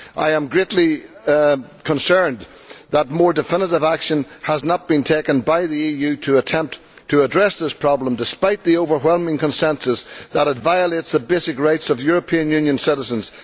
I am greatly concerned that more definitive action has not been taken by the EU to attempt to address this problem, despite the overwhelming consensus that it violates the basic rights of European Union citizens.